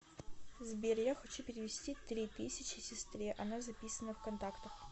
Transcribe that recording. сбер я хочу перевести три тысячи сестре она записана в контактах